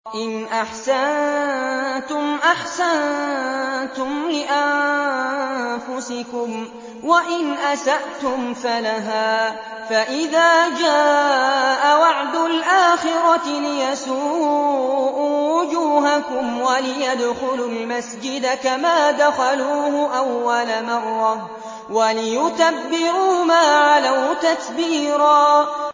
إِنْ أَحْسَنتُمْ أَحْسَنتُمْ لِأَنفُسِكُمْ ۖ وَإِنْ أَسَأْتُمْ فَلَهَا ۚ فَإِذَا جَاءَ وَعْدُ الْآخِرَةِ لِيَسُوءُوا وُجُوهَكُمْ وَلِيَدْخُلُوا الْمَسْجِدَ كَمَا دَخَلُوهُ أَوَّلَ مَرَّةٍ وَلِيُتَبِّرُوا مَا عَلَوْا تَتْبِيرًا